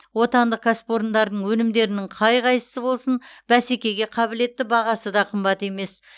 отандық кәсіпорындардың өнімдерінің қай қайсысы болсын бәсекеге қабілетті бағасы да қымбат емес